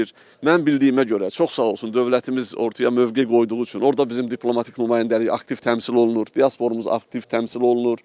Mənim bildiyimə görə, çox sağ olsun dövlətimiz ortaya mövqe qoyduğu üçün orada bizim diplomatik nümayəndəlik aktiv təmsil olunur, diasporumuz aktiv təmsil olunur.